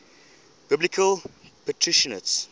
biblical patriarchs